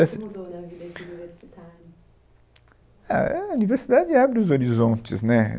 Mudou na vida de universitário? É, é... universidade abre os horizontes, né?